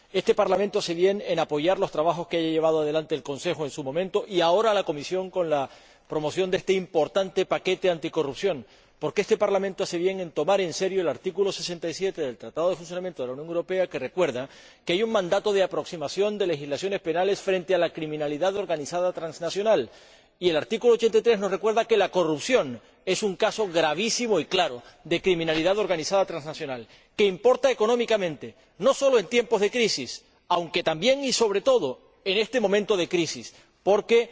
Este Parlamento hace bien en apoyar los trabajos que haya llevado adelante el Consejo en su momento, y ahora la Comisión, con la promoción de este importante paquete anticorrupción, porque este Parlamento hace bien en tomar en serio el artículo 67 del Tratado de Funcionamiento de la Unión Europea, que recuerda que hay un mandato de aproximación de legislaciones penales frente a la delincuencia organizada transnacional, y el artículo 83, que nos recuerda que la corrupción es un caso gravísimo y claro de delincuencia organizada transnacional que importa económicamente, no sólo en tiempos de crisis aunque también y sobre todo en este momento de crisis porque